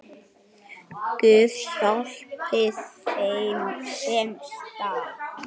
Guð, hjálpi þeim, sem stal!